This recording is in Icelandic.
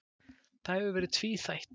Það hafi verið tvíþætt.